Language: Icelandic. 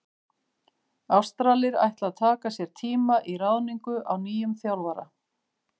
Ástralir ætla að taka sér tíma í ráðningu á nýjum þjálfara.